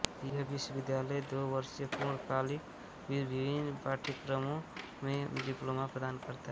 यह विश्वविद्यालय दो वर्षीय पूर्णकालिक विभिन्न पाठ्यक्रमों में डिप्लोमा प्रदान करता है